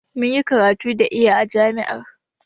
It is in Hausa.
Mun yi karatu da iya a jami'ar.